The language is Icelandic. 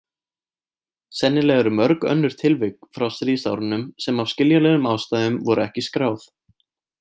Sennilega eru mörg önnur tilvik frá stríðsárunum sem af skiljanlegum ástæðum voru ekki skráð.